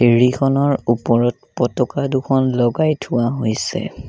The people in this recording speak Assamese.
ফেৰীখনৰ ওপৰত পতকা দুখন লগাই থোৱা হৈছে।